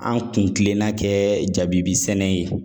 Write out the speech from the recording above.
An kun kilenna kɛ jabibi sɛnɛ ye